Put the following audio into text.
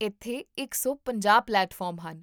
ਇੱਥੇ ਇਕ ਸੌ ਪੰਜਾਹ ਪਲੇਟਫਾਰਮ ਹਨ